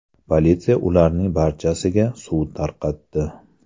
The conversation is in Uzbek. Politsiya ularning barchasiga suv tarqatdi.